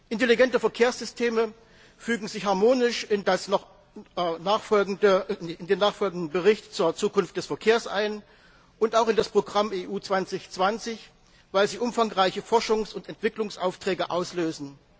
Intelligente Verkehrssysteme fügen sich harmonisch in den nachfolgenden Bericht zur Zukunft des Verkehrs ein und auch in das Programm EU 2020, weil sie umfangreiche Forschungs und Entwicklungsaufträge auslösen.